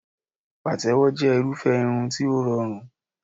Pàtẹ́wọ́ jẹ́ irúfẹ́ irun tí ó rọrùn